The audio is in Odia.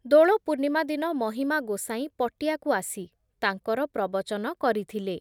ଦୋଳପୂର୍ଣ୍ଣିମା ଦିନ ମହିମା ଗୋସାଇଁ ପଟିଆକୁ ଆସି ତାଙ୍କର ପ୍ରବଚନ କରିଥିଲେ ।